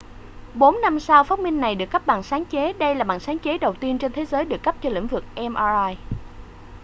bốn năm sau phát minh này được cấp bằng sáng chế đây là bằng sáng chế đầu tiên trên thế giới được cấp cho lĩnh vực mri